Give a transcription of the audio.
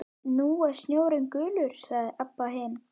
Nú er sjórinn gulur, sagði Abba hin.